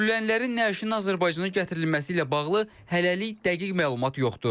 Öldürülənlərin nəşinin Azərbaycana gətirilməsi ilə bağlı hələlik dəqiq məlumat yoxdur.